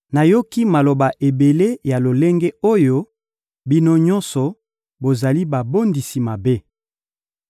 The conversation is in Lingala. «Nayoki maloba ebele ya lolenge oyo; bino nyonso bozali babondisi mabe.